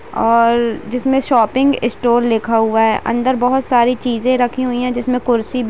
और जिसमे shopping store लिखा हुआ है अंदर बहोत सारी चीजें रखी हुई है जिसमे कुर्सी भी ----